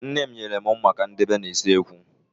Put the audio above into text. Nne m nyere mụ mma ka mụ dobe n'usekwu